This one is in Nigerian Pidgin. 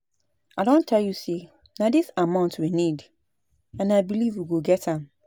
I don tell you say na dis amount we need and I believe we go get am